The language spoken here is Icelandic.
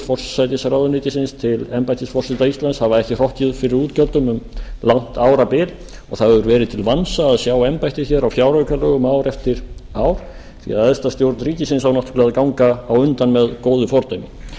forsætisráðuneytisins til embættis forseta íslands hafa ekki hrokkið fyrir útgjöldum um langt árabil og það hefur verið til vansa að sjá embættið á fjáraukalögum ár eftir ár því æðsta stjórn ríkisins á náttúrlega að ganga á undan með góðu fordæmi